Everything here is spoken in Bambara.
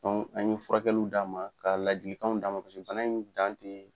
an ye furakɛliw d'a ma ka lajikanw d'a ma pase bana in dan te